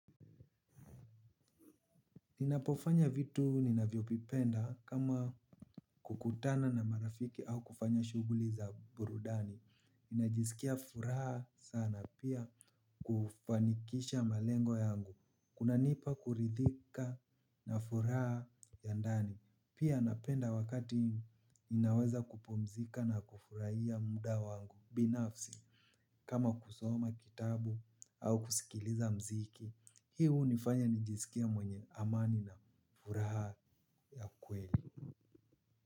Ninapofanya vitu ninavyovipenda kama kukutana na marafiki au kufanya shuguli za burudani ninajisikia furaha sana pia kufanikisha malengo yangu. Kunanipa kuridhika na furaha ya ndani. Pia napenda wakati ninaweza kupumzika na kufurahia muda wangu binafsi kama kusoma kitabu au kusikiliza mziki. Hii hunifanya nijisikie mwenye amani na furaha ya kweli.